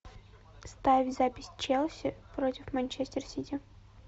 ставь запись челси против манчестер сити